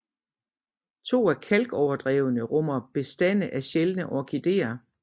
To af kalkoverdrevene rummer bestande af sjældne orkideer